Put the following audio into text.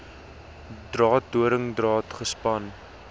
draad doringdraad gespan